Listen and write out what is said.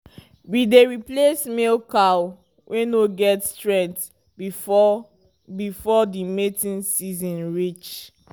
we dey replace male cow wey no get strenght before before the mating seeson reach